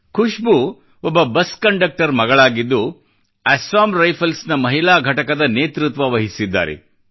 ಖುಷ್ಬೂ ಒಬ್ಬ bus conductor ಮಗಳಾಗಿದ್ದು Assam Rifles ನ ಮಹಿಳಾ ಘಟಕದ ನೇತೃತ್ವ ವಹಿಸಿದ್ದಾರೆ